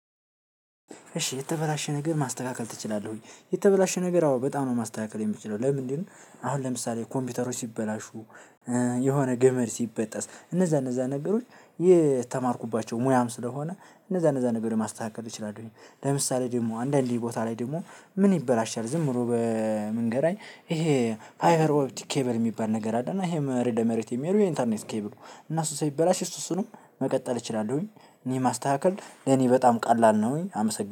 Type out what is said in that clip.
እሺ የተበላሸ ነገር ማስተካከል ትችላለህ ወይ? የተበላሸ ነገር አዎ በጣም ነው ማስተካከል ምችለው የተበላሸ ነገር በጣም ነው ማስተካከል የምችለው። ለምሳሌ ኮምፒዩተሮች ሲበላሹ የሆነ ገመድ ሲበጠስ እነዛ እነዛ ነገሮች የተማርኩባቸው ሙያም ስለሆነ እነዛ እነዛ ነገር ለማስተካከል እችላለሁኝ። ለምሳሌ ደግሞ አንዳንድ ቦታ ላይ ደግሞ ምን ይበላሻል ዝም ብሎ በመንገድ ላይ ይሄ ፋይበር ኦፕቲክ ኬብል የሚባል ነገር አለ። እና ይሄ መሬት ለመሬት የሚሄዱ የኢንተርኔት ኬብል እና እሱ ሲበላሽ እሱ እሱንም መቀጠል እችላለሁኝ። እኔ ማስተካከል ለኔ በጣም ቀላል ነው። ወይ አመሰግናለሁ